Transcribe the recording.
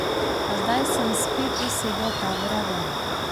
A zdaj sem spet dosegel pravo raven.